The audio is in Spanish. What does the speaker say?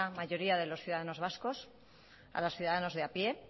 mayoría de los ciudadanos vascos a los ciudadanos de a pie